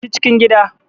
Tafi cikin gida.